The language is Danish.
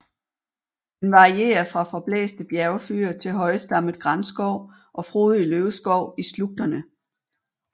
Den varierer fra forblæste bjergfyr til højstammet granskov og frodig løvskov i slugterne